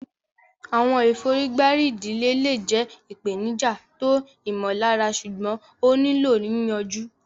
Àwọn ìfọ̀rígbárí ìdílé le jẹ́ ìpèníjà tó ìmọ̀lára ṣùgbọ́n ó nílò yìyànju.